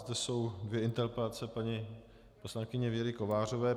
Zde jsou dvě interpelace paní poslankyně Věry Kovářové.